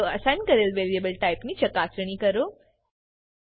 ચાલો અસાઇન કરેલ વેરીએબલ ટાઈપની ચકાસણી કરો